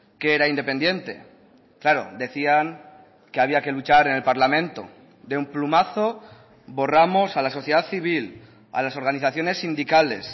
que era independiente claro decían que había que luchar en el parlamento de un plumazo borramos a la sociedad civil a las organizaciones sindicales